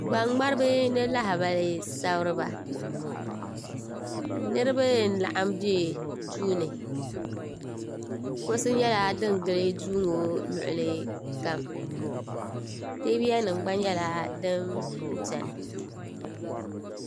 gbaŋŋmariba ni lahibali sabiriba niriba n-laɣim be duu ni kuɣisi nyɛla din gili duu ŋɔ luɣilikam teebuya gba nyɛla din beni